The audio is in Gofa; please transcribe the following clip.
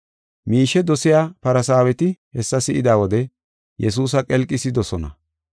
Miishe dosiya Farsaaweti hessa si7ida wode Yesuusa qelqisidosona.